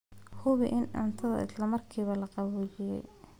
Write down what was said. Hubi in cuntada isla markiiba la qaboojiyey.